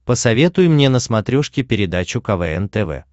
посоветуй мне на смотрешке передачу квн тв